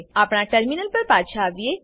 આપણા ટર્મિનલ પર પાછા આવીએ